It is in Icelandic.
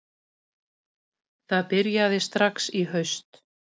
Það byrjaði strax í haust